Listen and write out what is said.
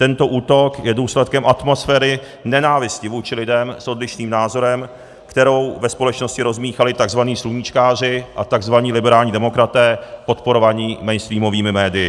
Tento útok je důsledkem atmosféry nenávisti vůči lidem s odlišným názorem, kterou ve společnosti rozmíchali tzv. sluníčkáři a tzv. liberální demokraté podporovaní mainstreamovými médii.